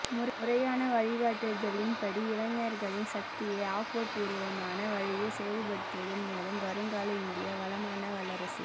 முறையான வழிகாட்டுதலின்படி இளைஞர்களின் சக்தியை ஆக்கபூர்வமான வழியில் செயல்படுத்துவதன் மூலம் வருங்கால இந்தியா வளமான வல்லரசு